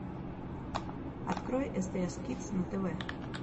открой стс кидс на тв